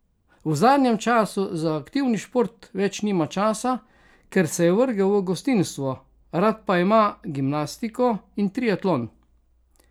V zadnjem času za aktivni šport več nima časa, ker se je vrgel v gostinstvo, rad pa ima gimnastiko in triatlon.